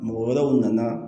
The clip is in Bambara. Mɔgɔ wɛrɛw nana